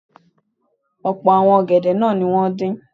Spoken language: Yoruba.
Ọ̀pọ̀ àwọn ọ̀gẹ̀dẹ̀ náà ni wọ́n dín.